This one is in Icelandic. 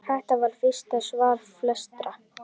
Þetta var fyrsta svar flestra?